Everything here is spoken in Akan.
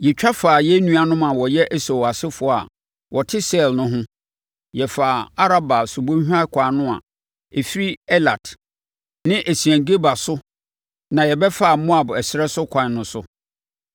Yɛtwa faa yɛn nuanom a wɔyɛ Esau asefoɔ a wɔte Seir no ho. Yɛfaa Araba subɔnhwa ɛkwan no a ɛfiri Elat ne Esion-Geber no so na yɛbɛfaa Moab ɛserɛ so ɛkwan no so.